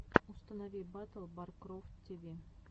установи батл баркрофт ти ви